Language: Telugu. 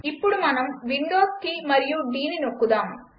ఇప్పుడు మనం విండోస్ కీ మరియు Dనొక్కుదాం